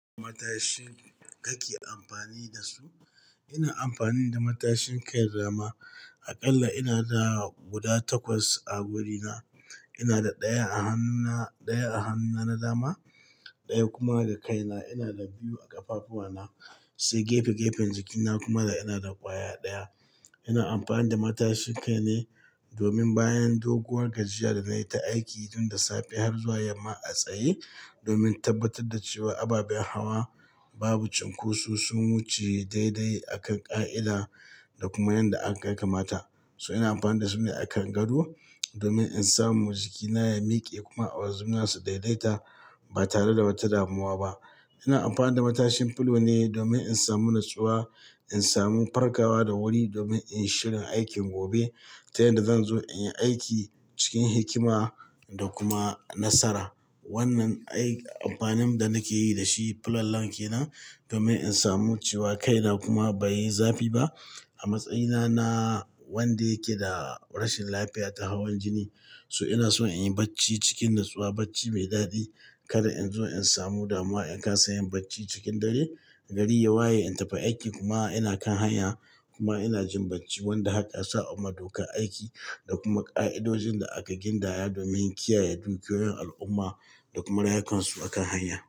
Matashin ka ke amfani da su? Ina amfani da matashin kai dama. Aƙalla ina da guda takwas a wurina. Ina da ɗaya a hannuna, ɗaya a hannuna na dama, ɗaya kuma da kaina. Ina da biyu a ƙafafuwana, sai gefe-gefen jikina kuma ina da ƙwaya ɗaya. Ina amfani da matashin kai ne domin bayan doguwar gajiya da nayi ta aiki tun da safe har zuwa yamma a tsaye, domin tabbatar da cewa ababen hawa babu cinkoso, sun wuce daidai akan ƙa'ida da kuma yadda aka ya kamata. So ina amfani da su ne a kan gado domin in samu jikina ya miƙe kuma awazu na su daidaita ba tare da wata damuwa ba. Ina amfani da matashin fulo ne domin in samu natsuwa, in samu farkawa da wuri domin in yi shirin aikin gobe ta yadda zan zo in yi aiki cikin hikima da kuma nasara. Wannan ai amfanin da nake yi da shi fulallan ke nan domin in samu cewa kaina kuma bai yi zafi ba. A matsayina na wanda yake da rashin lafiya ta hawan jini, so ina so in yi bacci cikin natsuwa, bacci mai daɗi. Kada in zo in samu damuwa in kasa yin bacci cikin dare, gari ya waye in tafi aiki kuma ina kan hanya kuma ina jin bacci. Wanda haka ya saɓa wa dokan aiki da kuma ƙa'idojin da aka gindaya domin kiyaye dukiyoyin al'umma da kuma rayukan su a kan hanya.